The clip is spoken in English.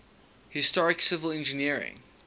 historic civil engineering